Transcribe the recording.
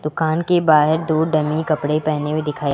दुकान के बाहर दो डमी कपड़े पहने हुए दिखाई--